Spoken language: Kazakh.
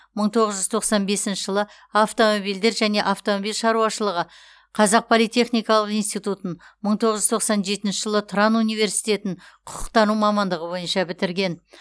мың тоғыз жүз тоқсан бесінші жылы автомобильдер және автомобиль шаруашылығы қазақ политехникалық институтын мың тоғыз жүз тоқсан жетінші жылы тұран университетін құқықтану мамандығы бойынша бітірген